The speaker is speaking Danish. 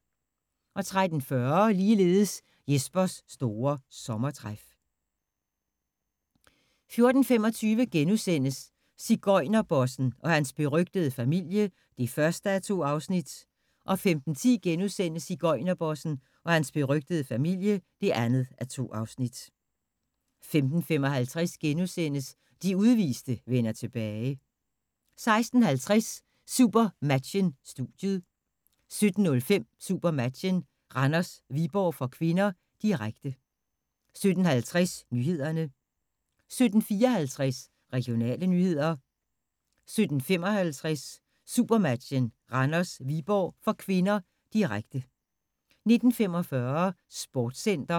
13:40: Jespers store sommertræf 14:25: Sigøjnerbossen – og hans berygtede familie (1:2)* 15:10: Sigøjnerbossen – og hans berygtede familie (2:2)* 15:55: De udviste vender tilbage * 16:50: SuperMatchen: Studiet 17:05: SuperMatchen: Randers-Viborg (k), direkte 17:50: Nyhederne 17:54: Regionale nyheder 17:55: SuperMatchen: Randers-Viborg (k), direkte 19:45: Sportscenter